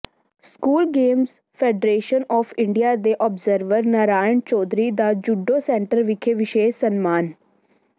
school games federation of India ਦੇ observer Narayan Chaudhary ਦਾ judo centre ਵਿਖੇ ਵਿਸ਼ੇਸ਼ ਸਨਮਾਨ